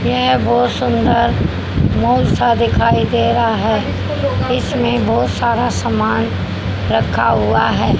यह बहुत सुंदर मॉल सा दिखाई दे रहा हैं इसमें बहुत सारा समान रखा हुआ हैं।